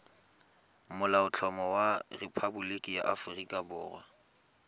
molaotlhomo wa rephaboliki ya aforika